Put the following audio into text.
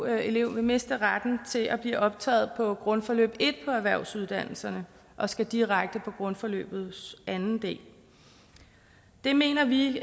elev vil miste retten til at blive optaget på grundforløb en på erhvervsuddannelserne og skal direkte på grundforløbets anden del det mener vi